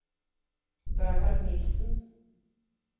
Bernhard Nilssen